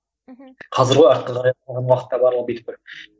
мхм қазір ғой